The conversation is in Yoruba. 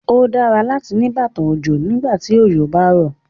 Ó dára láti ní bàtà òjò fún ìgbàkígbà tí òjò bá rọ̀.